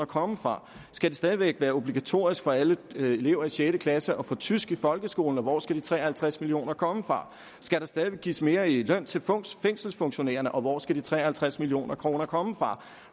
komme fra skal det stadig væk være obligatorisk for alle elever i sjette klasse at få tysk i folkeskolen og hvor skal de tre og halvtreds million kroner komme fra skal der stadig væk gives mere i løn til fængselsfunktionærerne og hvor skal de tre og halvtreds million kroner komme fra